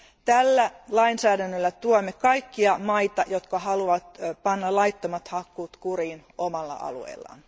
Tällä lainsäädännöllä tuemme kaikkia maita, jotka haluavat panna laittomat hakkuut kuriin omalla alueellaan.